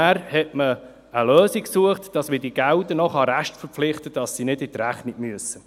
Dann hat man eine Lösung gesucht, damit man diese Gelder restverpflichten kann und sie nicht in die Rechnung fliessen müssen.